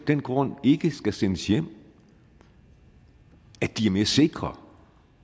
den grund ikke skal sendes hjem at de er mere sikre